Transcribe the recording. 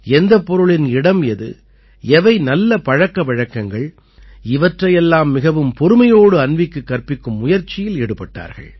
எந்தப் பொருளின் இடம் எது எவை நல்ல பழக்கவழக்கங்கள் இவற்றையெல்லாம் மிகவும் பொறுமையோடு அன்வீக்குக் கற்பிக்கும் முயற்சியில் ஈடுபட்டார்கள்